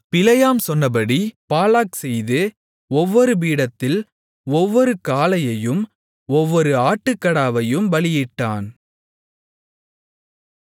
பிலேயாம் சொன்னபடி பாலாக் செய்து ஒவ்வொரு பீடத்தில் ஒவ்வொரு காளையையும் ஒவ்வொரு ஆட்டுக்கடாவையும் பலியிட்டான்